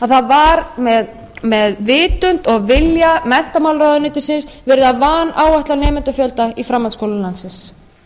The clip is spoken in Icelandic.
það var með vitund og vilja menntamálaráðuneytisins verið að vanáætla nemendafjölda í framhaldsskólum landsins